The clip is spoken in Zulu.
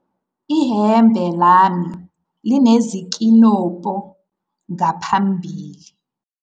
ihembe lami linezinkinobho ngaphambili